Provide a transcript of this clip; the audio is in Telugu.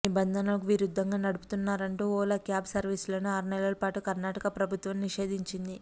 నిబంధనలకు విరుద్ధంగా నడుపుతున్నారంటూ ఓలా క్యాబ్ సర్వీసులను ఆరు నెలల పాటు కర్ణాటక ప్రభుత్వం నిషేదించింది